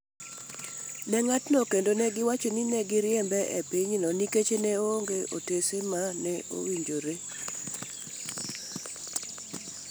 ne ng’atno kendo negiwacho ni ne giriembe e pinyno nikech ne onge otase ma ne owinjore.